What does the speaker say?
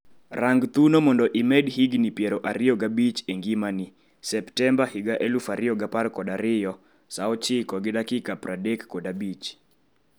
rang thuno mondo imed higni piero ariyo g'abich e ngimani Septemba 2012 3:35